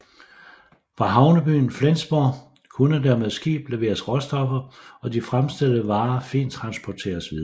Fra havnebyen Flensborg kunne der med skib leveres råstoffer og de fremstillede varer fint transporteres videre